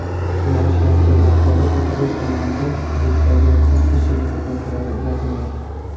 Yo‘nalish haqidagi axborot ekipaj tomonidan hududdagi dispetcherlik xizmatlariga uzatilmagan.